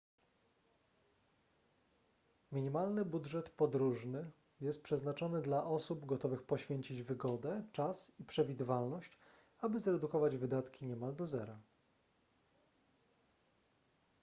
minimalny budżet podróżny jest przeznaczony dla osób gotowych poświęcić wygodę czas i przewidywalność aby zredukować wydatki niemal do zera